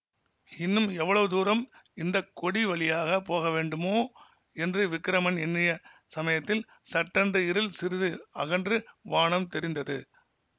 இன்னும் எவ்வளவு தூரம் இந்த கொடி வழியாக போகவேண்டுமோ என்று விக்கிரமன் எண்ணிய சமயத்தில் சட்டென்று இருள் சிறிது அகன்று வானம் தெரிந்தது